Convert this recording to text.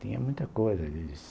Tinha muita coisa eles